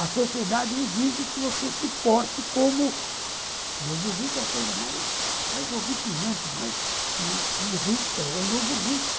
A sociedade exige que você se porte como... Novo rico é a coisa mais horripilante, mais irritante, é o novo rico.